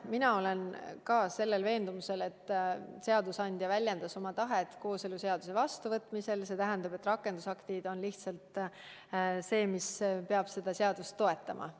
Mina olen ka veendumusel, et seadusandja väljendas oma tahet kooseluseaduse vastuvõtmisel ja et rakendusaktid on lihtsalt see, mis peab seda seadust toetama.